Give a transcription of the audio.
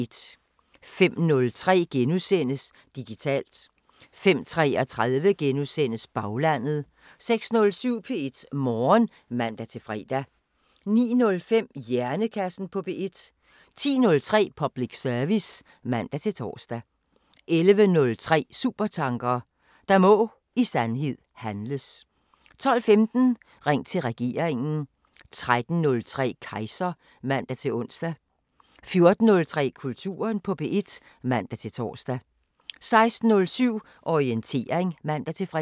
05:03: Digitalt * 05:33: Baglandet * 06:07: P1 Morgen (man-fre) 09:05: Hjernekassen på P1 10:03: Public service (man-tor) 11:03: Supertanker: Der må i sandhed handles 12:15: Ring til regeringen 13:03: Kejser (man-ons) 14:03: Kulturen på P1 (man-tor) 16:07: Orientering (man-fre)